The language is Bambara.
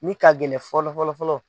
Min ka gɛlɛn fɔlɔ fɔlɔfɔlɔ.